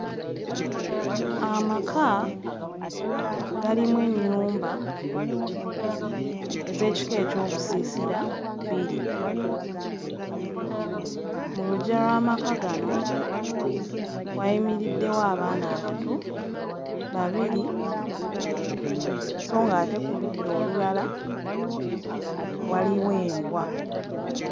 Amaka galimu ennyumba ez'ekika ekyobusiisira bbiri, mu luggya lw'amaka gano wayimiriddewo abaana abato babiri sso nga ate ku luda olulala waliwo embwa.